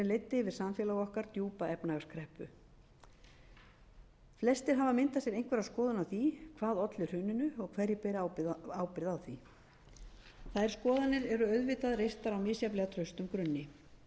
yfir samfélag okkar djúpa efnahagskreppu flestir hafa myndað sér einhverja skoðun á því hvað olli hruninu og hverjir bera ábyrgð á því þær skoðanir eru auðvitað reistar á misjafnlega traustum grunni